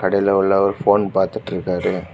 கடைல உள்ளவரு ஃபோன் பார்த்துட்டு இருக்காரு.